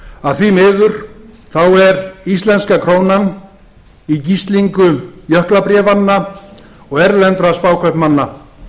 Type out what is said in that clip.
að því miður þá er íslenska krónan í gíslingu jöklabréfanna og erlendra spákaupmanna